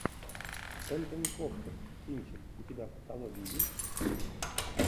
энтони хопкинс кинчик у тебя в каталоге есть